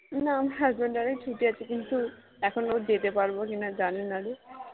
আমার husband এর ছুটি আছে কিন্তু এখন ও যেতে পারব কিনা জানিনা রে